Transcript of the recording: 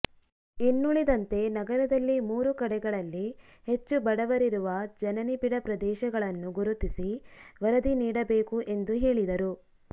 ಇನ್ನೂಳಿದಂತೆ ನಗರದಲ್ಲಿ ಮೂರು ಕಡೆಗಳಲ್ಲಿ ಹೆಚ್ಟು ಬಡವರಿರುವ ಜನನಿಬಿಡ ಪ್ರದೇಶಗಳನ್ನು ಗುರುತಿಸಿ ವರದಿ ನೀಡಬೇಕು ಎಂದು ಹೇಳಿದರು